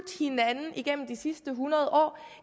hinanden igennem de sidste hundrede år